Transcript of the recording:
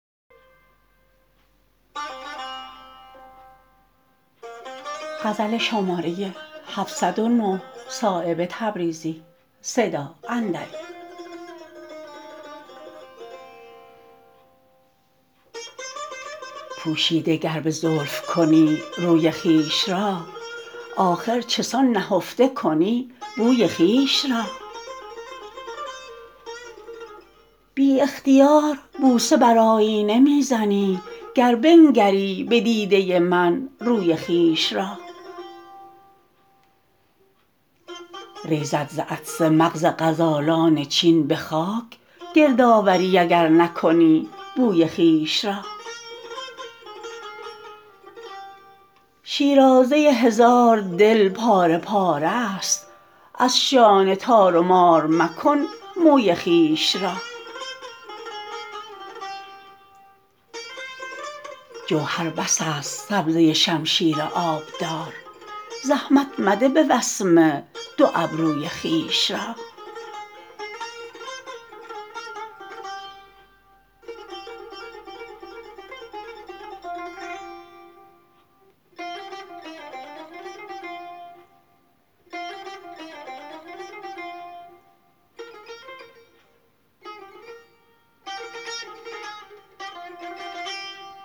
پوشیده گر به زلف کنی روی خویش را آخر چسان نهفته کنی بوی خویش را بی اختیار بوسه بر آیینه می زنی گر بنگری به دیده من روی خویش را ریزد ز عطسه مغز غزالان چین به خاک گردآوری اگر نکنی بوی خویش را شیرازه هزار دل پاره پاره است از شانه تار و مار مکن موی خویش را جوهر بس است سبزه شمشیر آبدار زحمت مده به وسمه دو ابروی خویش را